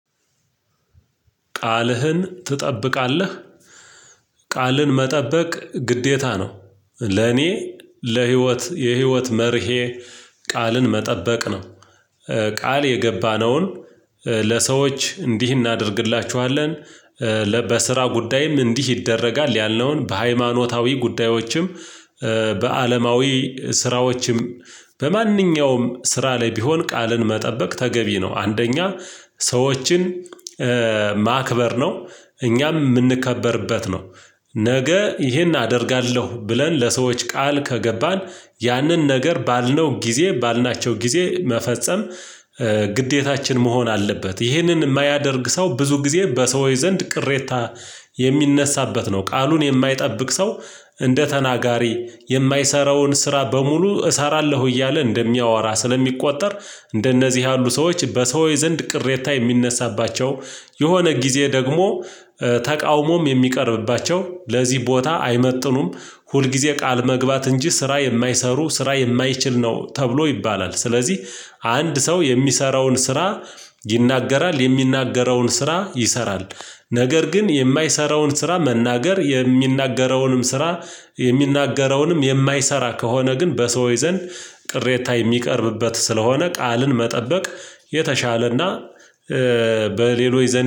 ቃልህን ትጠብቃለህ? ቃልን መጠበቅ ግዴታ ነው ለኔ ለህይወት የህይወት መርሄ ቃልን መጠበቅ ነው። ቃል የገባነውን ለሰዎች እንዲህ እናደርግላቹሀለን በስራ ጉዳይም እንዲህ ይደረጋል ያልነውን በሃይማኖታዊ ጉዳዮችም። በአለማዊ ስራዎችም በማንኛውም ስራ ላይ ቢሆን ቃልን መጠበቅ ተገቢ ነው። አንደኛ ሰዎችን ማክበር ነው። እኛም የምንከበርበት ነው። ነገ ይሄን አደርጋለሁ ብለን ለሰዎች ቃል ከገባን ያንን ነገር ባልነው ጊዜ ባልናቸው ጊዜ መፈጸም ግዴታችን መሆን አለበት። ይህንን የማያደርግ ሰው ብዙ ጊዜ በሰው ዘንድ ቅሬታ የሚነሳበት ነው። ቃሉን የማይጠብቅ ሰው እንደ ተናጋሪ የማይሰራውን ስራ በሙሉ እሰራለሁ እያለ እንደሚያወራ ስለሚቆጠር እንደነዚህ ያሉ ሰዎች በሰውዬ ዘንድ ቅሬታ የሚነሳባቸው የሆነ ጊዜ ደግሞ ተቃውሞም የሚቀርብባቸው ለዚህ ቦታ አይመጥኑም። ሁልጊዜ ቃል መግባት እንጂ ስራ የማይሰሩ ስራ የማይችል ነው ተብሎ ይባላል ስለዚህ አንድ ሰው የሚሰራውን ስራ ይናገራል የሚናገረውን ስራ ይሰራል። ነገር ግን የማይሰራውን ስራ መናገር የሚናገረውንም ስራ የሚናገረውንም የማይሰራ ከሆነ ግን በሰው ዘንድ ቅሬታ የሚቀርብበት ስለሆነ ቃልን መጠበቅ የተሻለ እና በሌሎች ዘንድ